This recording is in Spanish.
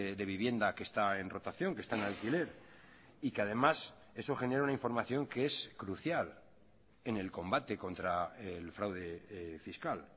de vivienda que está en rotación que está en alquiler y que además eso genera una información que es crucial en el combate contra el fraude fiscal